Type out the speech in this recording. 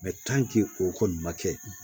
o kɔni ma kɛ